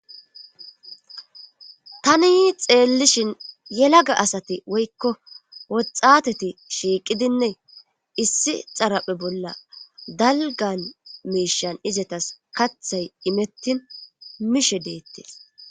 tani xeellishin yelaga asati woykko woxateti shiiqidinne issi xaraphe bolla dalgan meeshan izetas kathay imettin mishe deettees